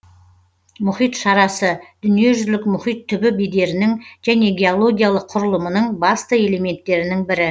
мұхит шарасы дүниежүзілік мұхит түбі бедерінің және геологиялық құрылымының басты элементтерінің бірі